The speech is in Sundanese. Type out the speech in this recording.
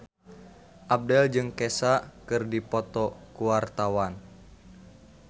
Abdel jeung Kesha keur dipoto ku wartawan